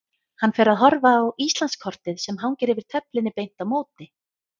Hann fer að horfa á Íslandskortið sem hangir yfir töflunni beint á móti.